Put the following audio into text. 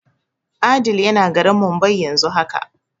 Adeel yana garin Mumbai yanzu haka.